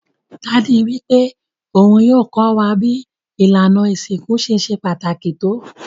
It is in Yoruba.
Daddy wípé oun yio ko wa bi ìlànà ìsinkú ṣe se pàtàkì to